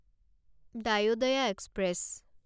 Dayodaya express